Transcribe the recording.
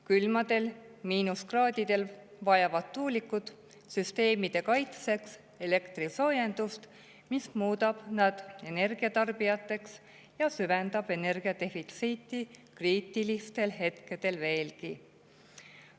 Külmadel miinuskraadidel vajavad tuulikud süsteemide kaitseks elektrisoojendust, mis muudab nad energia tarbijateks, ja see süvendab energiadefitsiiti kriitilistel hetkedel veelgi.